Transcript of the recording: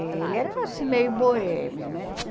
Ele era assim meio boêmio, né?